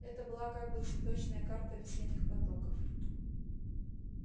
это была как бы цветочная карта весенних потоков